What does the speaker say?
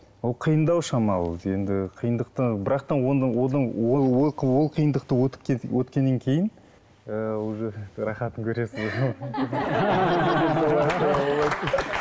ол қиындау шамалы енді қиындықтың бірақ та ол қиындықты өткеннен кейін ыыы уже рахатын көресің